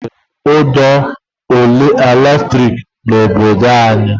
Ha butekwara ụd'ọkụ latrik n'obodo anyị.